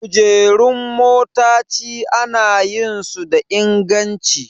Kujerun motaci ana yin su da inganci